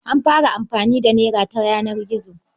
An fara amfani da nera ta yanar gizo.